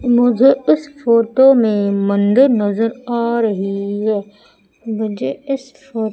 मुझे इस फोटो में मंदिर नजर आ रही है मुझे इस फो --